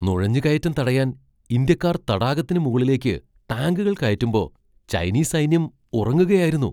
നുഴഞ്ഞുകയറ്റം തടയാൻ ഇന്ത്യക്കാർ തടാകത്തിന് മുകളിലേക്ക് ടാങ്കുകൾ കയറ്റുമ്പോ ചൈനീസ് സൈന്യം ഉറങ്ങുകയായിരുന്നു.